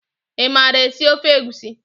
I maara esi ofe egusi?